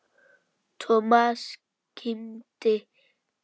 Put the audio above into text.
Thomas kímdi.